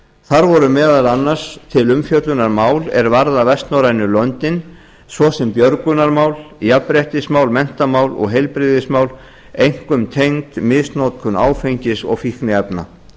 þar voru meðal annars til umfjöllunar mál er varða vestnorrænu löndin svo sem björgunarmál jafnréttismál menntamál og heilbrigðismál einkum tengd misnotkun áfengis og fíkniefna